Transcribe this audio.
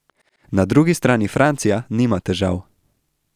Na drugi strani Francija nima težav.